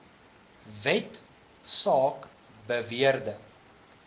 wet saak beweerde